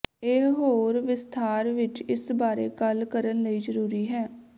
ਇਹ ਹੋਰ ਵਿਸਥਾਰ ਵਿੱਚ ਇਸ ਬਾਰੇ ਗੱਲ ਕਰਨ ਲਈ ਜ਼ਰੂਰੀ ਹੈ